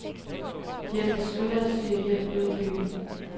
De har besluttet at søge hjælp ude i byen.